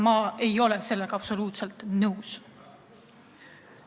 Ma ei ole sellega absoluutselt nõus.